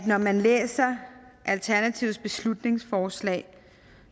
når man læser alternativets beslutningsforslag